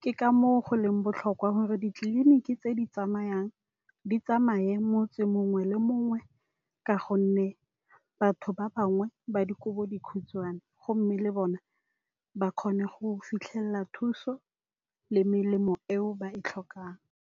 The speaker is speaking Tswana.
Ke ka moo go leng botlhokwa gore ditleliniki tse di tsamayang di tsamaye motse mongwe le mongwe, ka gonne batho ba bangwe ba di kobo dikhutshwane. Go mme le bona ba kgone go fitlhelela thuso le melemo eo ba e tlhokang.